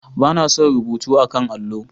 Ba na son rubutu a 'kan allo.